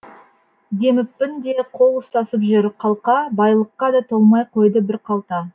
демеппін де қол ұстасып жүр қалқа байлыққа да толмай қойды бір қалта